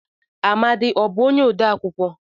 Amadi ọ bụ onye odee akụkọ?